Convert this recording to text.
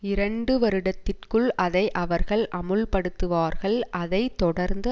இரண்டு வருடத்திற்குள் அதை அவர்கள் அமுல்படுத்துவார்கள் அதை தொடர்ந்து